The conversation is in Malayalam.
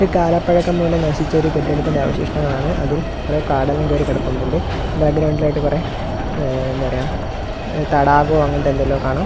ഇത് കാലപ്പഴക്കം മൂലം നശിച്ച ഒരു കെട്ടിടത്തിന്റെ അവശിഷ്ടങ്ങളാണ് അതിൽ കൊറേ കാടെല്ലാം കേറി കടപ്പുന്നുണ്ട് ബാക്ക്ഗ്രൗണ്ടിൽ ആയിട്ട് കൊറേ മ് എന്താ പറയാ തടാകവോ അങ്ങനത്തെ എന്തെല്ലോ കാണാം.